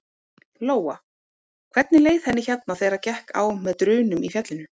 Lóa: Hvernig leið henni hérna þegar gekk á með drunum í fjallinu?